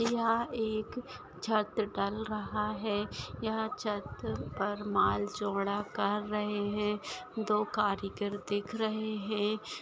यहा एक छत्र ढल रहा है। यह छत पर माल चोड़ा कर रहे है। दो कारीगर दिख रहे है।